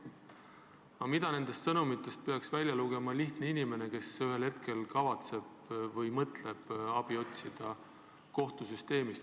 Aga mida nendest sõnumitest peaks välja lugema lihtne inimene, kes ühel hetkel mõtleb kohtusüsteemist abi otsida?